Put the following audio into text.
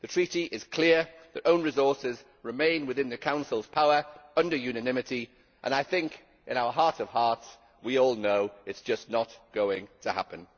The Treaty is clear the own resources remain within the Council's power under unanimity, and I think in our heart of hearts we all know it is just not going to happen.